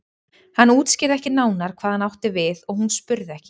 Hann útskýrði ekki nánar hvað hann átti við og hún spurði ekki.